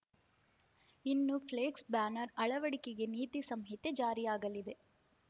ಇನ್ನು flex banner ಅಳವಡಿಕೆಗೆ ನೀತಿ ಸಂಹಿತೆ ಜಾರಿಯಾಗಲಿದೆ